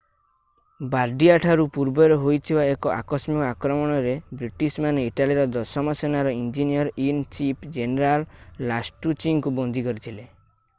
ବାର୍ଡିଆଠାରୁ ପୂର୍ବରେ ହୋଇଥିବା ଏକ ଆକସ୍ମିକ ଆକ୍ରମଣରେ ବ୍ରିଟିଶମାନେ ଇଟାଲୀର ଦଶମ ସେନାର ଇଞ୍ଜିନିୟର୍-ଇନ୍-ଚିଫ୍ ଜେନେରାଲ ଲାଷ୍ଟୁଚିଙ୍କୁ ବନ୍ଦୀ କରିଥିଲେ